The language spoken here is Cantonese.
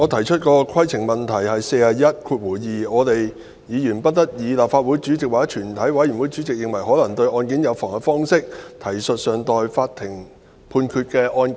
主席，規程問題，《議事規則》第412條規定："議員不得以立法會主席或全體委員會主席認為可能對案件有妨害的方式，提述尚待法庭判決的案件。